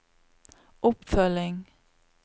oppfølging